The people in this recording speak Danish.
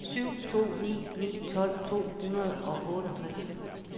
syv to ni ni tolv to hundrede og otteogtres